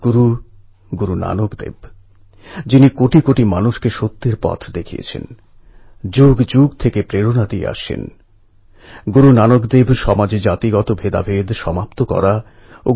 গ্রামে যত উন্নয়নের কাজ হচ্ছে এই অ্যাপের মাধ্যমে সেগুলির রেকর্ড রাখা ট্র্যাক করা মনিটর করা সহজ হয়ে গেছে